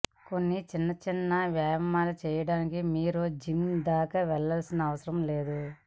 కొన్ని చిన్న చిన్న వ్యాయామాలు చేయడానికి మీరు జిమ్ దాకా వెళ్లాల్సిన అవసరం లేదు